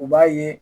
U b'a ye